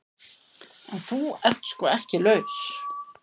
En þú ert sko ekki laus.